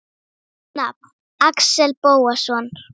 Nafn: Axel Bóasson